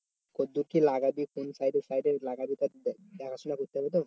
কতদূর কি লাগাবি কোন সাইডে সাইডে লাগাবি তার দেখাশুনা করতে হবে তো?